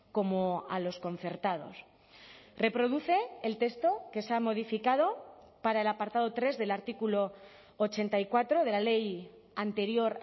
como a los concertados reproduce el texto que se ha modificado para el apartado tres del artículo ochenta y cuatro de la ley anterior